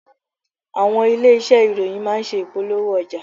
Àwọn ilé-iṣé ìròyìn má ń ṣe ìpolówó ọjà.